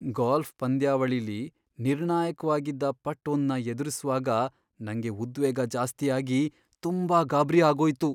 Golf ಪಂದ್ಯಾವಳಿಲಿ ನಿರ್ಣಾಯಕ್ವಾಗಿದ್ದ putt ಒಂದ್ನ ಎದುರಿಸ್ವಾಗ ನಂಗೆ ಉದ್ವೇಗ ಜಾಸ್ತಿ ಆಗಿ ತುಂಬಾ ಗಾಬ್ರಿ ಆಗೋಯ್ತು.